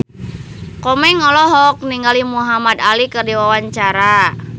Komeng olohok ningali Muhamad Ali keur diwawancara